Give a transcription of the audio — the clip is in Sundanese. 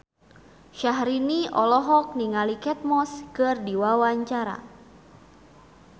Syahrini olohok ningali Kate Moss keur diwawancara